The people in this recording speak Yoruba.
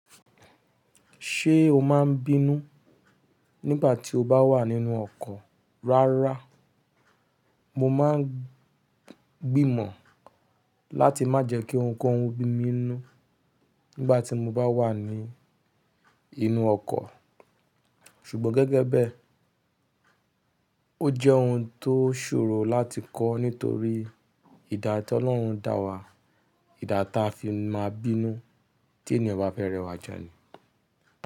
Ṣé o máa ń bínú nígbà tí o bá wà nínú ọkọ̀? Rárá, mo máa ń gbìmọ̀ láti má jẹ́ kí ohunkóhun bí mi inú nígbà tí mo bá wà ní inú ọkọ̀. Ṣùgbọ́n gẹ́gẹ́ bẹ́ẹ̀, ó jẹ́ ohun tó ṣòro láti kọ́ nítorí ìdá tí Ọlọ́run dá wa, ìdá ta fi máa ń bínú tí ènìyàn bá fẹ́ rẹwà jẹ ni.